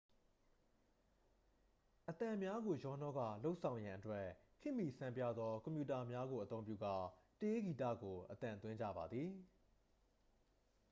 အသံများကို ရောနှောကာ လုပ်ဆောင်ရန်အတွက် ခေတ်မီဆန်းပြားသောကွန်ပြူတာများကိုအသုံးပြုကာ တေးဂီတကို အသံသွင်းကြပါသည်